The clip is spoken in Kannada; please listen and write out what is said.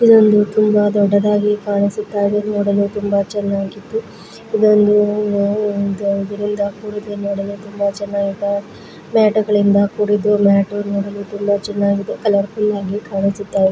ಇದು ಒಂದು ತುಂಬಾ ದೊಡ್ಡದಾಗಿ ಕಾಣಿಸಿತ್ತಾಯಿದೆ ಅದನ್ನ ತುಂಬಾ ಚೆನ್ನಾಗಿದ್ದು ಇದೊಂದು ನೊಡಲು ತುಂಬಾ ಚೆನ್ನಾಗಿದೆ ಮ್ಯಾಟು ಗಳಿಂದ ಕುಡಿದ್ದು ಮ್ಯಾಟು ನೊಡಲು ತುಂಬಾ ಚೆನ್ನಾಗಿದೆ .